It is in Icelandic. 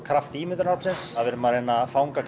kraft ímyndunaraflsins við erum að fanga